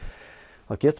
þá getur